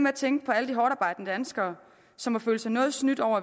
at tænke på alle de hårdtarbejdende danskere som må føle sig noget snydt over